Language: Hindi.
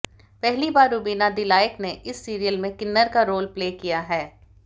पहली बार रुबीना दिलाइक ने इस सीरियल में किन्नर का रोल प्ले किया है